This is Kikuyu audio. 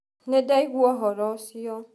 Nĩndaĩgũa ũhoro ũcĩo.